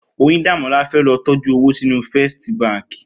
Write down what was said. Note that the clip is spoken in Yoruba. Oyindamola fè lò tòjú ówó sinú Fèstí bànkí